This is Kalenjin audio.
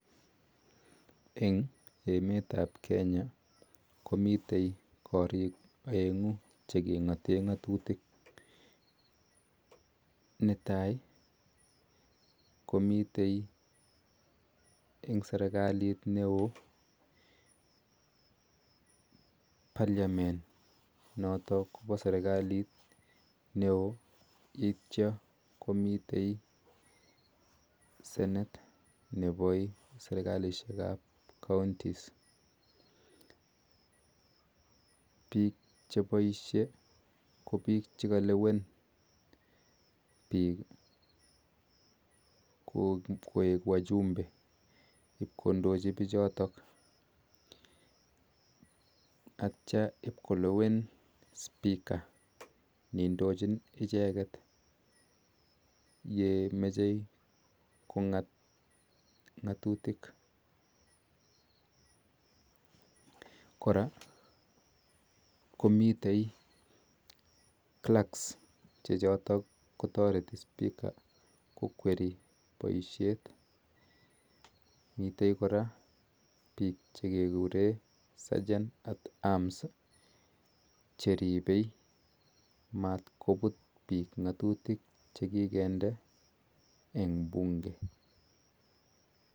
Eng emet ap kenya komiteei kariik aenguu chekingateee tetutik netaii ko mitei eng serekalit neoo parliament nitok kompa serikalit neoo notok miteii seneet nepo serikalisheek ap kauntis magat kelewen sikondiochiii pichotok